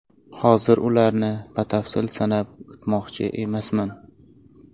Hozir ularni batafsil sanab o‘tmoqchi emasman.